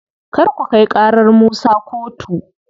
Kar ku kai ƙarar Musa kotu.